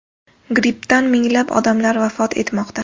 Grippdan minglab odamlar vafot etmoqda.